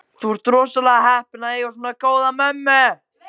Þú ert rosalega heppinn að eiga svona góða mömmu.